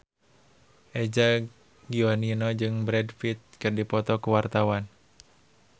Eza Gionino jeung Brad Pitt keur dipoto ku wartawan